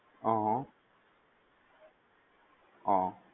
અહ્હં અ હઃ